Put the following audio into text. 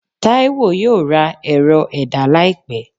Taiwo yóò ra erò- ẹda laípe